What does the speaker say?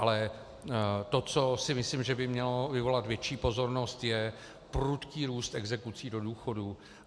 Ale to, co si myslím, že by mělo vyvolat větší pozornost, je prudký růst exekucí do důchodu.